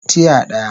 Tiya daya